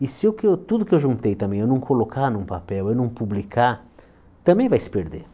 E se eu que eu tudo que eu juntei também, eu não colocar num papel, eu não publicar, também vai se perder.